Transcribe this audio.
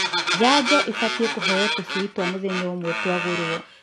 Janjo ĩbatie kũheo tũcui twa mũthenya ũmwe twagũrwo.